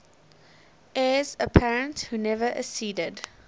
heirs apparent who never acceded